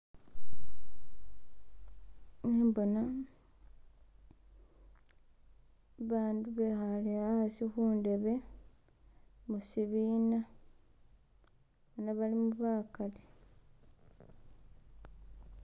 Khembona bandu bekhale hasi khundebe mushibina bona balimu bagali.